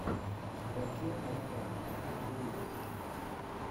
ваче амарян последний выпуск